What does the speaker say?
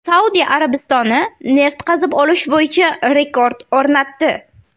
Saudiya Arabistoni neft qazib olish bo‘yicha rekord o‘rnatdi.